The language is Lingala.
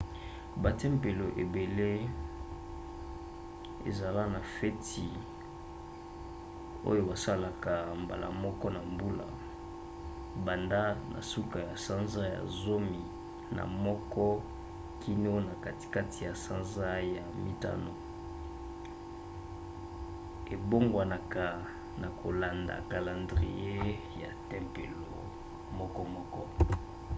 batempelo ebele ezala na fete oyo basalaka mbala moko na mbula banda na suka ya sanza ya zomi na moko kino na katikati ya sanza ya mitano; ebongwanaka na kolanda kalandrie ya tempelo mokomoko